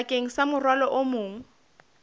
bakeng sa morwalo o mong